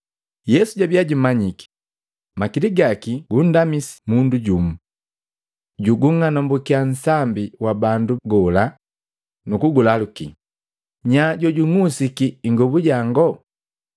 Yesu jabia jumanyiki makili gaki gundamisi mundu jumu. Jugung'anumbukiya nsambi wa bandu gola, nukugulaluki, “Nya jojung'usiki ingobu yango?”